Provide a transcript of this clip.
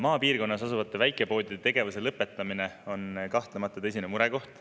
" Maapiirkonnas asuvate väikepoodide tegevuse lõpetamine on kahtlemata tõsine murekoht.